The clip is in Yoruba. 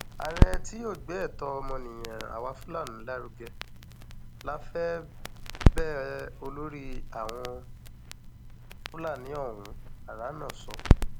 ààrẹ tí yóò gbé ẹtọ ọmọnìyàn àwa fúlàní lárugẹ la fẹ bẹẹ olórí àwọn fúlàní ọhún háránà sọ